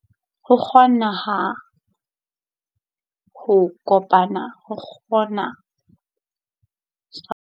Ho kgona ho bokana ba keng sa ditshebeletso tsa bodumedi kamora ho tswa nakong ya mathata a maholo, e boetse e ba kgefu bakeng sa batho ka bo mong, malapa le badudi.